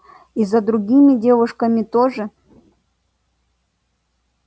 и за другими девушками тоже